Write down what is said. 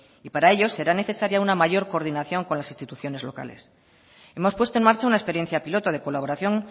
y para ello será necesaria una mayor coordinación con las instituciones locales hemos puesto en marcha una experiencia piloto de colaboración